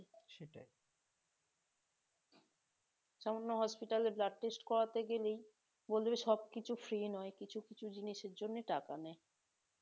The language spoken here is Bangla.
সামান্য hospital এ blood test করাতে গেলেই সবকিছু free নয় কিছু কিছু জিনিসের জন্য টাকা নেয়